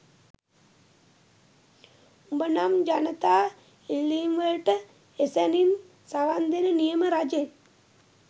උඹ නම් ජනතා ඉල්ලීම්වලට එසැණින් සවන්දෙන නියම රජෙක්